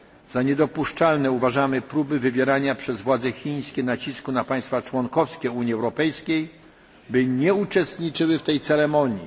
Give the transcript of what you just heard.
Za niedopuszczalne uważamy próby wywierania nacisków przez władze Chin na państwa członkowskie Unii Europejskiej, aby nie uczestniczyły w tej ceremonii.